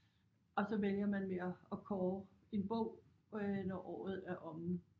Og så vælger man med at at kåre en bog øh når året er omme